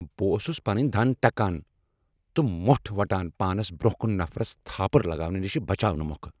بہٕ اوس پنٕنۍ دند ٹکان تہٕ مۄٹھ وٹان پانس برٛونٛہہ کن نفرس تھاپٕر لگاونہٕ نش بچاونہٕ مۄکھٕ۔